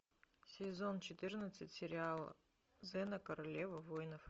сезон четырнадцать сериала зена королева воинов